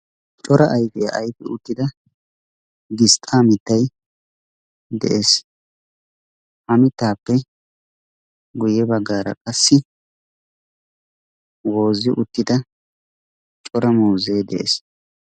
CORA AYFIYA AYFI UTTIDA GISTAA MITTAY DE'EES, HA MITTAAPPE GUYE BAGGAARA QASSI WOOZI UTTID CORA MUUZEE DE'EES.